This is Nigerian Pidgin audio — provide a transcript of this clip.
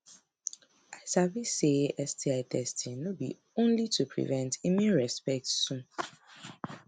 i sabi say say sti testing no be only to prevent e mean respect too